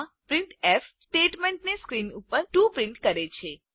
આ printf statement screen ઉપર 2 print કરે છે